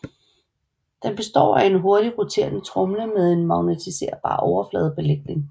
Det består af en hurtigt roterende tromle med en magnetiserbar overfladebelægning